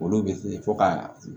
Olu bɛ fɔ ka